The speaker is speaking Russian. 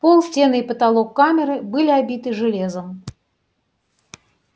пол стены и потолок камеры были обиты железом